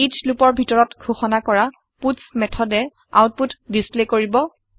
ইচ লুপৰ ভিতৰত ঘোষণা কৰা পাটছ মেথডে আওতপুত ডিচপ্লে কৰিব